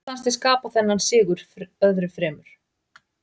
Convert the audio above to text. Hvað fannst þér skapa þennan sigur öðru fremur?